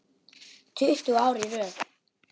Tuttugu ár í röð.